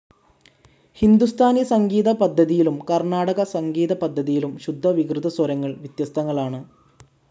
ഹിന്ദുസ്ഥാനി സംഗീതപദ്ധതിയിലും കർണ്ണാടക സംഗീതപദ്ധതിയിലും ശുദ്ധ വികൃതസ്വരങ്ങൾ വ്യത്യസ്തങ്ങളാണ്.